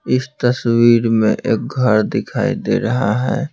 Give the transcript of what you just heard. इस तस्वीर में एक घर दिखाई दे रहा है।